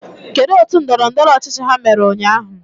Kedu otu ndọrọndọrọ ọchịchị ha mere ụnyahụ?